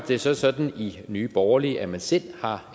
det så sådan i nye borgerlige at man selv har